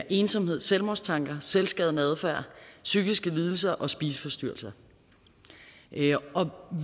ensomhed selvmordstanker selvskadende adfærd psykiske lidelser og spiseforstyrrelser og